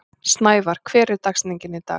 Snævarr, hver er dagsetningin í dag?